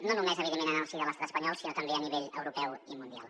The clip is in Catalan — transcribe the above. no només en el si de l’estat espanyol sinó també a nivell europeu i mundial